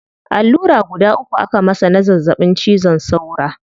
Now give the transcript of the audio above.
Allura guda uku aka masa na zazzabin cizon saura